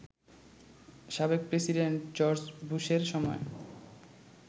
সাবেক president George বুশের সময়